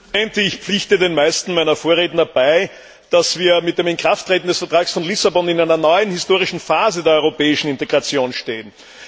Herr Präsident! Ich pflichte den meisten meiner Vorredner bei, dass wir mit dem Inkrafttreten des Vertrags von Lissabon in einer neuen historischen Phase der europäischen Integration stehen.